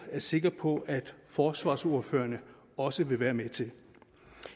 er sikker på forsvarsordførerne også vil være med til